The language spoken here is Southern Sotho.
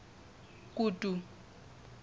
kutu